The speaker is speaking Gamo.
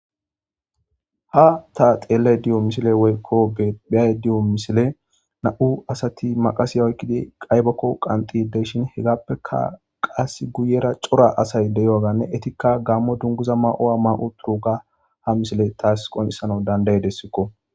Ha ta xelayda woyko beyayda doyo misiley nam'u asati maqase oykidi aybako qanxidi de'ishin hegappeka qasi guyera cora asay de'iyoga ne qase eetika gamo dunguza mayidi diyoga ha misiley tasi qoncisidesiko